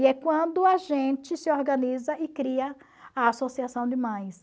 E é quando a gente se organiza e cria a Associação de Mães.